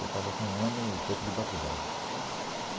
Eu estava com um ano e pouco de batizado.